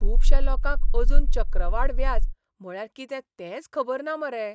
खुबश्या लोकांक अजून चक्रवाड व्याज म्हळ्यार कितें तेंच खबर ना मरे.